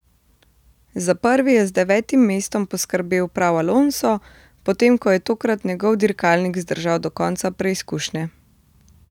Za prvi je z devetim mestom poskrbel prav Alonso, potem ko je tokrat njegov dirkalnik zdržal do konca preizkušnje.